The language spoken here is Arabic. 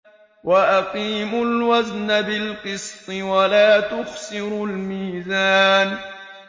وَأَقِيمُوا الْوَزْنَ بِالْقِسْطِ وَلَا تُخْسِرُوا الْمِيزَانَ